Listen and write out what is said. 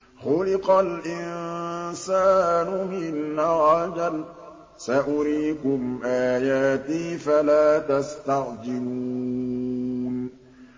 خُلِقَ الْإِنسَانُ مِنْ عَجَلٍ ۚ سَأُرِيكُمْ آيَاتِي فَلَا تَسْتَعْجِلُونِ